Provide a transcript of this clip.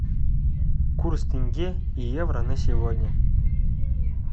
курс тенге и евро на сегодня